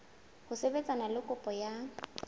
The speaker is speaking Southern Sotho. ho sebetsana le kopo ya